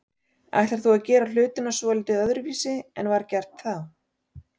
Ætlar þú að gera hlutina svolítið öðruvísi en var gert þá?